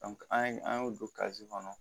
an ye an y'o don kazi kɔnɔ